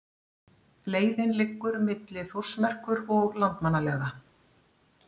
Leiðin liggur milli Þórsmerkur og Landmannalauga.